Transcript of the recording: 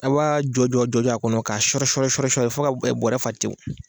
A b'a jojɔ jɔjɔ a kɔnɔ ka sɔri sɔri sɔri sɔri fo ka bɔɔrɛ fa tewu.